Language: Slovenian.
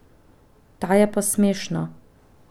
Ta je pa smešna.